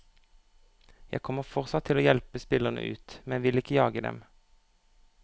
Jeg kommer fortsatt til å hjelpe spillere ut, men vil ikke jage dem.